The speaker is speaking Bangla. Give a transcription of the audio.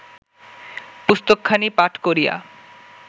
পুস্তকখানি পাঠ করিয়া